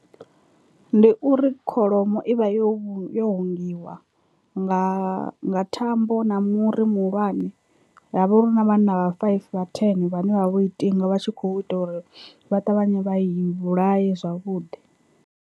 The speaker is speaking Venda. Ndi uri kholomo i vha yo yo hangiwa nga nga thambo na muri muhulwane ha vha uri hu na vhanna vha five vha ten vhane vhavha vho i tinga vha tshi kho ita uri vha ṱavhanye vha i vhulaye zwavhuḓi.